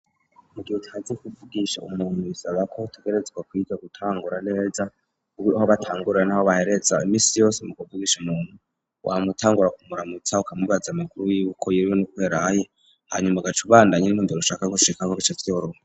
Mu gihe utazi kuvugisha umuntu bisabako hotugerezwa kwija gutangura neza uwoho batangurira n'aho bahereza imisi yose mu guvugisha nuntu wa mutangura kumuramutsahkamubaza amakuru yuko yiriwe n'ukweraye hanyuma agacubandanyen'tonvero ushaka gushika ako gico vyoroha.